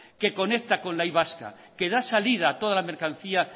que con la y vasca que da salida a toda la mercancía